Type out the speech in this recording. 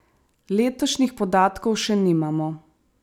Letošnjih podatkov še nimamo.